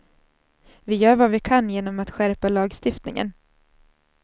Vi gör vad vi kan genom att skärpa lagstiftningen.